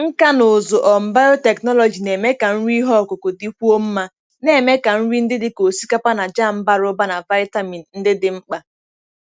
Nkà na ụzụ um biotechnology na-eme ka nri ihe ọkụkụ dịkwuo mma, na-eme ka nri ndị dị ka osikapa na jam bara ụba na vitamin ndị dị mkpa.